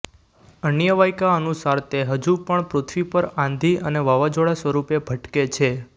અન્ય વાયકા અનુસાર તે હજું પણ પૃથ્વી પર આંધી અને વાવાઝોડાં સ્વરૂપે ભટકે છે